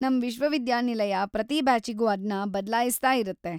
ನಮ್‌ ವಿಶ್ವವಿದ್ಯಾನಿಲಯ ಪ್ರತಿ ಬ್ಯಾಚಿಗೂ ಅದ್ನ ಬದ್ಲಾಯಿಸ್ತಾಯಿರತ್ತೆ.